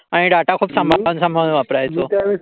आणि डाटा खूप सांभाळून सांभाळून वापरायच